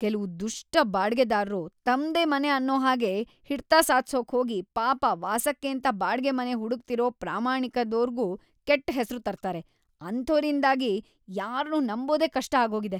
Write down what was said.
ಕೆಲ್ವು ದುಷ್ಟ ಬಾಡ್ಗೆದಾರ್ರು ತಮ್ದೇ ಮನೆ ಅನ್ನೋ ಹಾಗೆ ಹಿಡ್ತ ಸಾಧ್ಸೋಕ್‌ ಹೋಗಿ‌ ಪಾಪ ವಾಸಕ್ಕೇಂತ ಬಾಡ್ಗೆ ಮನೆ ಹುಡುಕ್ತಿರೋ ಪ್ರಾಮಾಣಿಕ್ರಾದೋರ್ಗೂ ಕೆಟ್ಟ್ ಹೆಸ್ರು ತರ್ತಾರೆ, ಅಂಥೋರಿಂದಾಗಿ ಯಾರ್ನೂ ನಂಬೋದೇ ಕಷ್ಟ ಆಗೋಗಿದೆ.